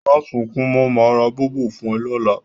Mà sùn kún mọ̀, màá rá Bọ̀bọ̀ fún ẹ lọ́lá